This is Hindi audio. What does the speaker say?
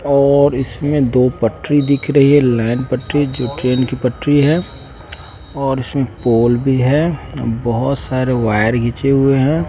और इसमें दो पटरी दिख रही है लाइन पटरी जो ट्रेन की पटरी है और इसमें पोल भी है बहोत सारे वायर घिचे हुए हैं।